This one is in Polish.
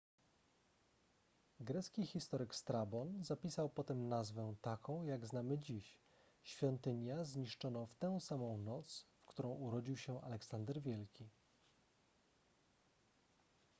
grecki historyk strabon zapisał potem nazwę taką jak znamy dziś świątynia zniszczono w tę samą noc w którą urodził się aleksander wielki